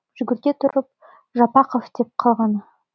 жүгірте тұрып жапақов деп қалғаны